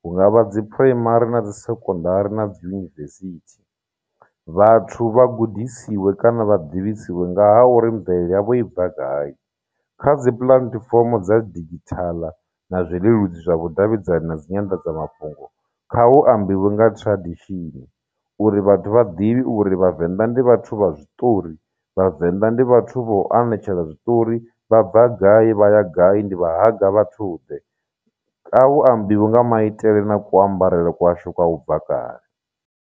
hunga vha dzi phuraimari na dzi sekondari na dzi yunivesithi vhathu vha gudisiwe kana vha ḓisiwe nga ha uri mvelele yavho i bva gai kha dzi puḽatifomo dza digithala na zwileludzi zwa vhudavhidzani na dzi nyanḓadzamafhungo kha hu ambiwe nga tradition uri vhathu vha ḓivhe uri vhavenḓa ndi vhathu vha zwiṱori vhavenḓa ndi vhathu vho anetshela zwiṱori vha bva gai vha ya gai ndi vha haga vhathu ḓe a hu ambiwe nga maitele na ku ambarele kwashu u bva kale.